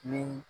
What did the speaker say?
Ni